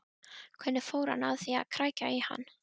Hvernig fór hann að því að krækja í hann?